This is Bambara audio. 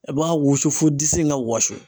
I b'a wusu fo disi in ka wɔsi.